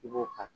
I b'o ka